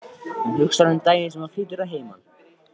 Hún hugsar um daginn sem hún flytur að heiman.